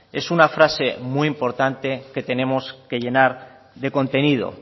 es una frase muy importante que tenemos que llenar de contenido